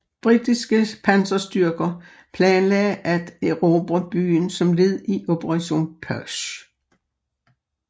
Britiske panserstyrker planlagde at erobre byen som led i Operation Perch